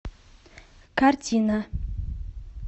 картина